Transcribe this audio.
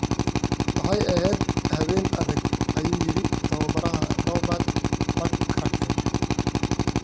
"Waxay ahayd habeen adag," ayuu yiri tababaraha Robert McCracken.